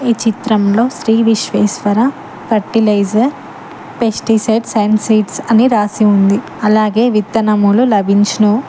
చిత్రంలో Shri Visweswara fertiliser pesticides and seeds అని రాసి ఉంది అలాగే విత్తనములు లభించును.